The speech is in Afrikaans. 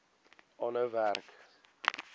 aanhou werk